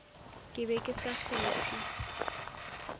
ke be ke sa kgethe